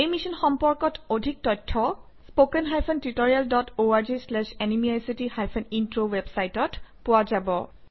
এই মিশ্যন সম্পৰ্কত অধিক তথ্য spoken hyphen tutorial dot org slash এনএমইআইচিত হাইফেন ইন্ট্ৰ ৱেবচাইটত পোৱা যাব